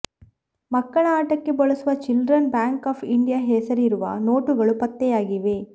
ಮಕ್ಕಳ ಆಟಕ್ಕೆ ಬಳಸುವ ಚಿಲ್ಡ್ರನ್ ಬ್ಯಾಂಕ್ ಆಫ್ ಇಂಡಿಯಾ ಹೆಸರಿರುವ ನೋಟುಗಳೂ ಪತ್ತೆಯಾಗಿವೆ